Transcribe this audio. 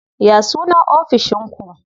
Ya sunan ofishin ku?